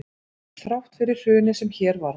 Þrátt fyrir hrunið sem hér varð